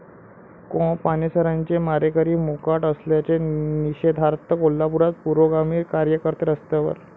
कॉ. पानसरेंचे मारेकरी मोकाट असल्याच्या निषेधार्थ कोल्हापुरात पुरोगामी कार्यकर्ते रस्त्यावर